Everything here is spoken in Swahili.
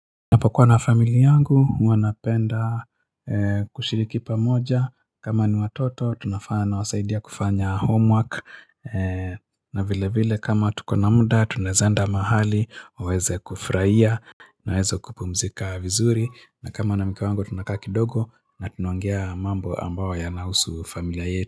Napokuwa na familia yangu huwa napenda kushiriki pamoja kama ni watoto tunafanya nawasaidia kufanya homework na vile vile kama tuko na muda tunaeza enda mahali waweze kufurahia Naweza kupumzika vizuri na kama nina mke wangu tunakaa kidogo na tunaongea mambo ambayo yanahusu familia yetu.